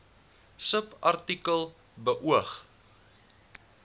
subartikel beoog